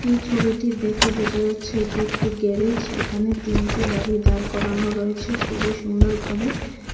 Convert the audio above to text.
এই ছবিটি দেখে বোঝা যাচ্ছে এটি একটি গ্যারেজ এখানে তিনটি গাড়ি দাঁড় করানো রয়েছে খুবই সুন্দর ভাবে।